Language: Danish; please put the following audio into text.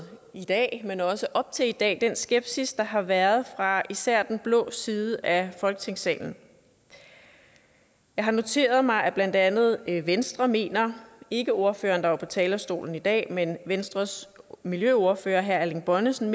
i dag men også op til i dag den skepsis der har været fra især den blå side af folketingssalen jeg har noteret mig at blandt andet venstre mener ikke ordføreren der var på talerstolen i dag men venstres miljøordfører herre erling bonnesen